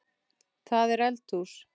Það er eldhús.